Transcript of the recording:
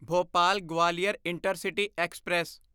Bhopal Gwalior intercity express